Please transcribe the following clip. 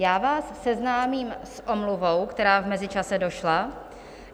Já vás seznámím s omluvou, která v mezičase došla.